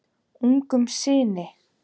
Ungum syni